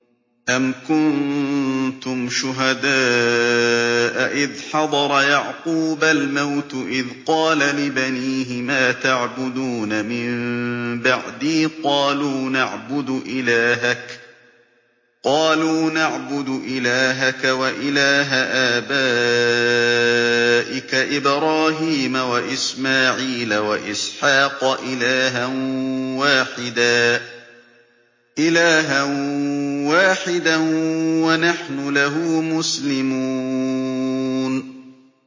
أَمْ كُنتُمْ شُهَدَاءَ إِذْ حَضَرَ يَعْقُوبَ الْمَوْتُ إِذْ قَالَ لِبَنِيهِ مَا تَعْبُدُونَ مِن بَعْدِي قَالُوا نَعْبُدُ إِلَٰهَكَ وَإِلَٰهَ آبَائِكَ إِبْرَاهِيمَ وَإِسْمَاعِيلَ وَإِسْحَاقَ إِلَٰهًا وَاحِدًا وَنَحْنُ لَهُ مُسْلِمُونَ